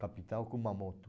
capital Kumamoto.